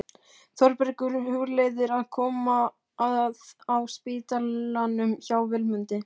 Þórbergur hugleiðir að koma að á spítalanum hjá Vilmundi.